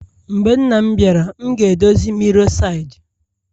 Mgbe nna m biara,e m ga-edozi mirror side